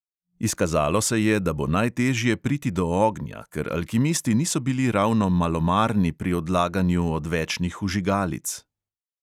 Izkazalo se je, da bo najtežje priti do ognja, ker alkimisti niso bili ravno malomarni pri odlaganju odvečnih vžigalic.